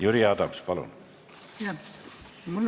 Jüri Adams, palun!